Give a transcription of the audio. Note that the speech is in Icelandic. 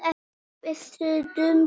Það er stundum svo.